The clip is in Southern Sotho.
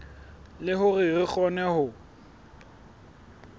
le hore re kgone ho